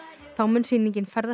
þá mun sýningin ferðast